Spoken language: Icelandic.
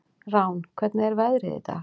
Rán, hvernig er veðrið í dag?